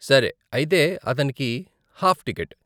సరే, అయితే అతనికి హాఫ్ టికెట్.